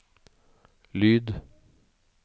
lyd